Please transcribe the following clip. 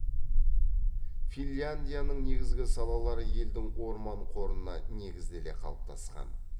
финляндияның негізгі салалары елдің орман қорына негізделе қалыптасқан